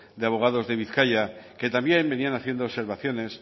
de abogados de bizkaia que también venían haciendo observaciones